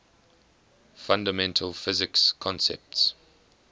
fundamental physics concepts